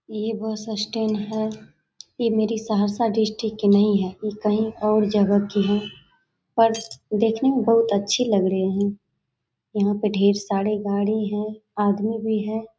ये bus stand है ये मेरी सहरसा डिस्ट्रिक्ट की नहीं है ये कहीं और जगह की है पर देखने में बहुत अच्छी लाग रही है यहाँ पे बहुत ढेर सारी गाड़ी हैं आदमी भी है।